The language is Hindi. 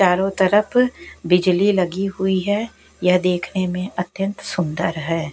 चारों तरफ बिजली लगी हुई है यह देखने में अत्यंत सुंदर है।